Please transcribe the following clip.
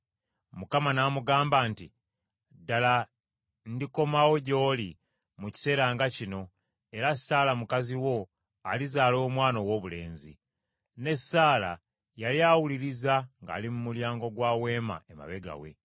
Awo omu ku bo n’amugamba nti, “Ddala ndikomawo gy’oli mu kiseera nga kino, era Saala mukazi wo alizaala omwana owoobulenzi.” Ne Saala yali awuliriza ng’ali mu mulyango gwa weema emabega we.